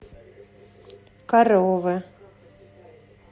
коровы